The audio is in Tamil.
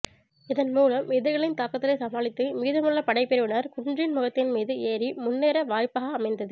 இதன் மூலம் எதிரிகளின் தாக்குதலைச் சமளித்து மீதமுள்ள படைப்பிரிவினர் குன்றின் முகத்தின் மீது ஏறி முன்னேர வாய்ப்கா அமைந்தது